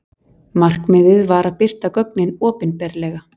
Markmiðið var að birta gögnin opinberlega.